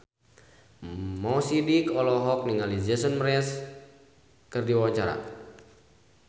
Mo Sidik olohok ningali Jason Mraz keur diwawancara